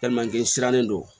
sirannen don